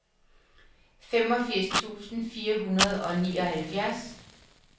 femogfirs tusind fire hundrede og nioghalvfjerds